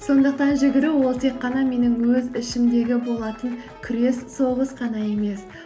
сондықтан жүгіру ол тек қана менің өз ішімдегі болатын күрес соғыс қана емес